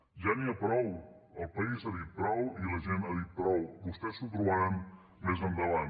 ja n’hi ha prou el país ha dit prou i la gent ha dit prou vostès s’ho trobaran més endavant